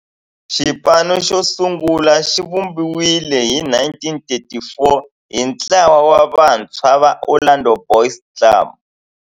Xipano xosungula xivumbiwile hi 1934 hi ntlawa wa vantshwa va Orlando Boys Club.